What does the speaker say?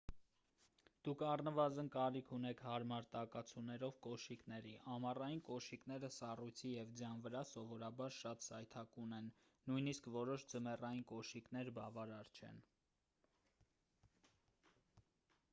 դուք առնվազն կարիք ունեք հարմար տակացուներով կոշիկների ամառային կոշիկները սառույցի և ձյան վրա սովորաբար շատ սայթաքուն են նույնիսկ որոշ ձմեռային կոշիկներ բավարար չեն